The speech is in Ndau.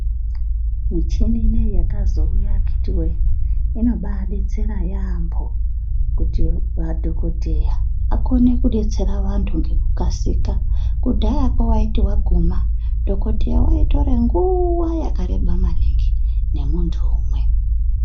Michini inoiyi yakazouya akhiti voye inobabetsera yaambo. Kuti madhogodheya akone kubetsera vantu ngekukasika Kudhayako vaiti vaguma dhogodheya vaitore nguva yakareba maningi nemuntu umwe.